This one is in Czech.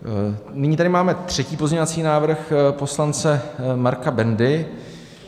Nyní tady máme třetí pozměňovací návrh, poslance Marka Bendy.